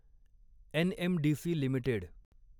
NMDC limited